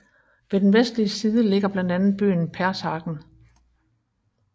Ved den vestlige side ligger blandt andet byen Pershagen